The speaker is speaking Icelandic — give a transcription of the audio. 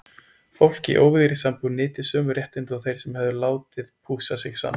Fólk í óvígðri sambúð nyti sömu réttinda og þeir sem hefðu látið pússa sig saman.